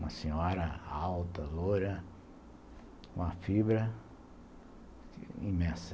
Uma senhora alta, loura, com uma fibra imensa.